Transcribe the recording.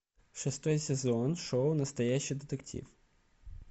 шестой сезон шоу настоящий детектив